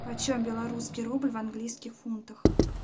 почем белорусский рубль в английских фунтах